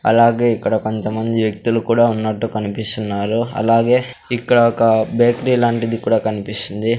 అలాగే ఇక్కడ కొంతమంది వ్యక్తులు కూడా ఉన్నట్టు కనిపిస్తున్నారు అలాగే ఇక్కడ ఒక బేకేరీ లాంటిది కూడా కనిపిస్తుంది.